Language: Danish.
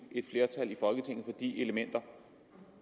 flertal i folketinget for de elementer